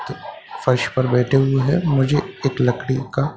फर्श पर बैठे हुए हैं मुझे एक लकड़ी का--